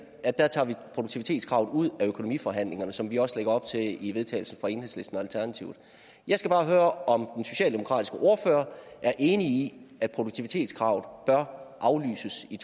at der tager vi produktivitetskravet ud af økonomiforhandlingerne som vi også lægger op til i vedtagelse fra enhedslisten og alternativet jeg skal bare høre om socialdemokratiske ordfører er enig i at produktivitetskravet bør aflyses i